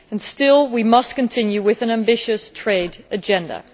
Still, we must continue with an ambitious trade agenda.